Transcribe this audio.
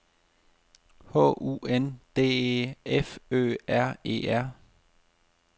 H U N D E F Ø R E R